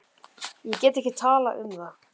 Ég get ekki talað um það.